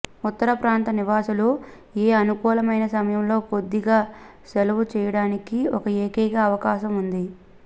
ఉత్తర ప్రాంత నివాసులు ఏ అనుకూలమైన సమయంలో కొద్దిగా సెలవు చేయడానికి ఒక ఏకైక అవకాశం ఉంది